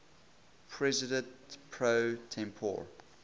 president pro tempore